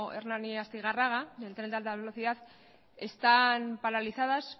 hernani astigarraga del tren de alta velocidad están paralizadas